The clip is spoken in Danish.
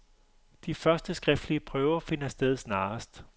De første skriftlige prøver finder sted snarest.